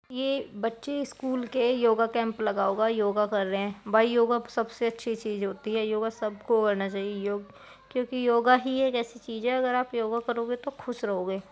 ये बच्चे स्कूल के योगा केम्प लगा हुआ है। योगा कर रहे है। भाई योगा सबसे अच्छी चीज होती है। योगा सबको आना चाहिए योग क्योकि योगा ही ऐसी चीज है। अगर आप योगा करोगे तो खुश रहोगे।